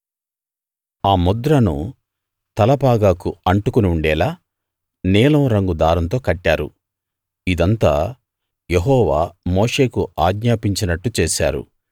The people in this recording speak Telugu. ఆ ముద్రను తలపాగాకు అంటుకుని ఉండేలా నీలం రంగు దారంతో కట్టారు ఇదంతా యెహోవా మోషేకు ఆజ్ఞాపించినట్టు చేశారు